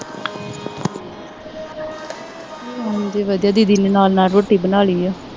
ਹਾਂਜੀ ਵਧੀਆ ਦੀਦੀ ਨੇ ਨਾਲ ਨਾਲ ਰੋਟੀ ਬਣਾ ਲਈ ਹੈ